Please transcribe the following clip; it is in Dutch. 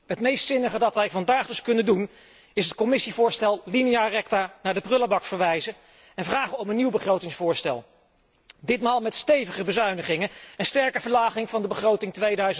Het meest zinnige dat wij vandaag dus kunnen doen is het Commissievoorstel linea recta naar de prullenbak verwijzen en vragen om een nieuw begrotingsvoorstel, ditmaal met stevige bezuinigingen en een sterke verlaging van de begroting